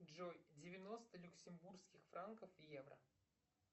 джой девяносто люксембургских франков в евро